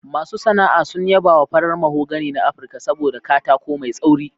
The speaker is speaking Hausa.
Masu sana'a sun yaba wa farar mahogany na Afirka saboda katako mai tsauri.